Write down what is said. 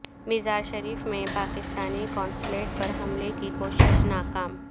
مزار شریف میں پاکستانی قونصلیٹ پر حملے کی کوشش ناکام